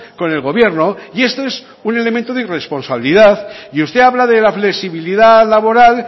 con el gobierno y esto es un elemento de irresponsabilidad y usted habla de la flexibilidad laboral